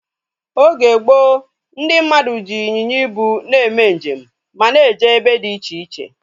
Oge gboo, ndị mmadụ ji ịnyịnya ibu eme njem ma na eje ebe dị iche iche